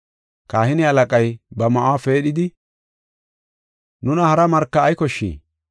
Kahine halaqay ba ma7uwa peedhidi, “Nuna hara marka ay koshshii?